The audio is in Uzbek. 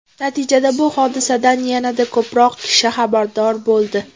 Natijada bu hodisadan yanada ko‘proq kishi xabardor bo‘ldi.